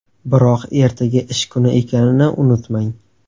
Biroq ertaga ish kuni ekanini unutmang!